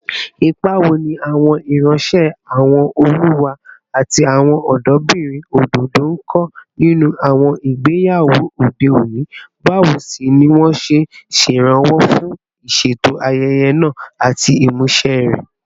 Ipa wo ni àwọn ìránṣẹ́, àwọn olùwá, àti àwọn ọ̀dọ́bìnrin òdòdó ń kó nínú àwọn ìgbéyàwó òde òní, báwo sì ni wọ́n ṣe ń ṣèrànwọ́ fún ìṣètò ayẹyẹ náà àti ìmúṣẹ rẹ̀?